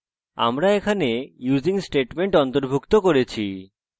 আমরা এখানে using statement অন্তর্ভুক্ত করেছি